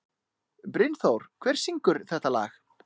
Brynþór, hver syngur þetta lag?